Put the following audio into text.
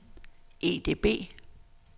EDB